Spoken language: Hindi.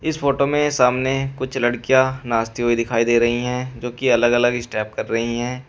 इस फोटो में सामने कुछ लड़कियां नाचती हुई दिखाई दे रही हैं जो की अलग अलग स्टेप कर रही हैं।